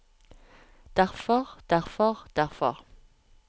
derfor derfor derfor